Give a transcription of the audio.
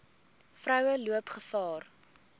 vroue loop gevaar